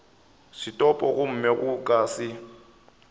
setopo gomme go ka se